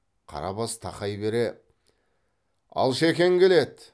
қарабас тақай бере алшекең келеді